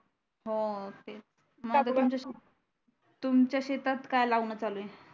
हो तेच आता तुमच्या शेतात काय लावण चालू आहे